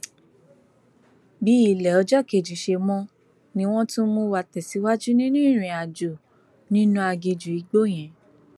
bí ilé ọjọ kejì ṣe mọ ni wọn tún mú wa tẹsíwájú nínú ìrìnàjò nínú aginjù igbó yẹn